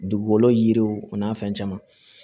Dugukolo yiriw o n'a fɛn caman